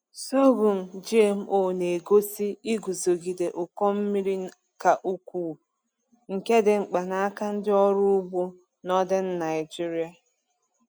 Sorghum GMO na-egosi iguzogide ụkọ mmiri ka ukwuu, nke dị mkpa n’aka ndị ọrụ ugbo Northern Naijiria.